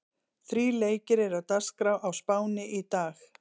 Þrír leikir eru á dagskrá á Spáni í dag.